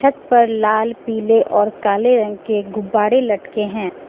उपर लाल पिले और काले रंग के गुब्बारे लटके हैं।